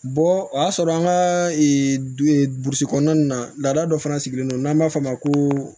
Bɔ o y'a sɔrɔ an ka burusi kɔnɔna nin na lada dɔ fana sigilen don n'an b'a fɔ o ma ko